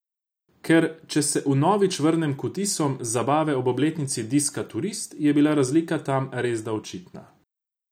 Ker če se vnovič vrnem k vtisom z zabave ob obletnici diska Turist, je bila razlika tam resda očitna.